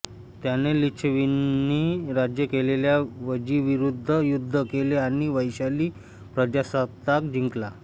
त्याने लिच्छविंनी राज्य केलेल्या वज्जीविरूद्ध युद्ध केले आणि वैशाली प्रजासत्ताक जिंकला